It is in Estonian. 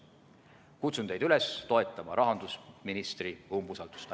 Kutsun teid üles toetama rahandusministri umbusaldamist.